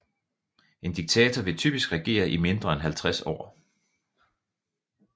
En diktator vil typisk regere i mindre end 50 år